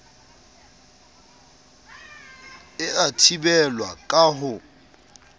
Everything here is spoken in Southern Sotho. e a thibelwa ka ho